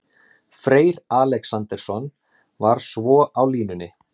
Freyr Alexandersson var svo á línunni.